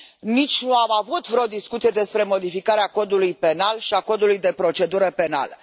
Nici nu am avut vreo discuție despre modificarea Codului penal și a Codului de procedură penală.